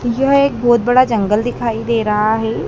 यह एक बहुत बड़ा जंगल दिखाई दे रहा है।